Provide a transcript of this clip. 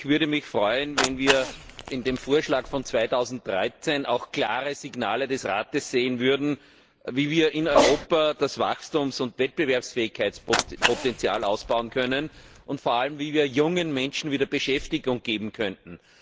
Ich würde mich freuen, wenn wir in dem Vorschlag für 2013 auch klare Signale des Rates sehen würden, wie wir in Europa das Wachstums und Wettbewerbsfähigkeitspotenzial ausbauen können, und vor allem, wie wir jungen Menschen wieder Beschäftigung geben könnten.